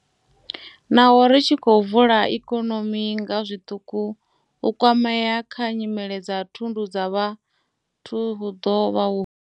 Naho ri tshi khou vula ikonomi nga zwiṱuku, u kwamea kha nyimele dza thundu dza vhathu hu ḓo vha huhulu.